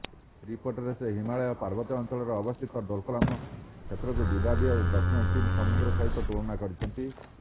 ରିପୋର୍ଟରେ ସେ ହିମାଳୟ ପାର୍ବତ୍ୟାଞ୍ଚଳରେ ଅବସ୍ଥିତ ଡୋକଲାମ କ୍ଷେତ୍ରକୁ ବିବାଦୀୟ ଦକ୍ଷିଣ ଚୀନ୍ ସମୁଦ୍ର ସହିତ ତୁଳନା କରିଛନ୍ତି